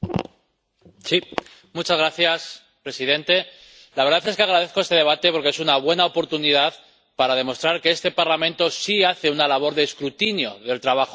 Señor presidente, la verdad es que agradezco este debate porque es una buena oportunidad para demostrar que este Parlamento sí hace una labor de escrutinio del trabajo del BCE